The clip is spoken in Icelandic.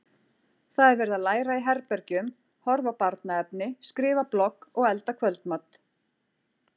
Það er verið að læra í herbergjum, horfa á barnaefni, skrifa blogg og elda kvöldmat.